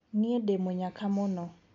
Nĩe ndĩ mũnyaka mũno.